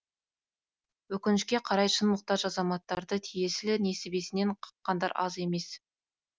өкінішке қарай шын мұқтаж азаматтарды тиесілі несібесінен қаққандар аз емес